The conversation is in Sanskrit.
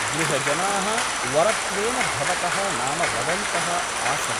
गृहजनाः वरत्वेन भवतः नाम वदन्तः आसन् ।